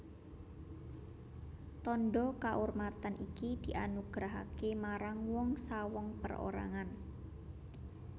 Tandha kaurmatan iki dianugerahaké marang wong sawong perorangan